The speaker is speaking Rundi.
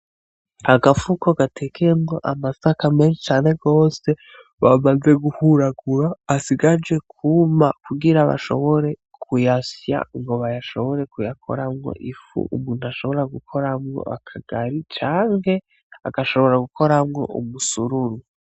Agafuko gatekeyemwo amasaka menshi cane gose bamaze guhuragura asigaje kwuma kugira bashobore kuyasya ngo bayashobore kuyakoramwo ifu umuntu gukoramwo akagari canke agashobora gukoramwo umusururu.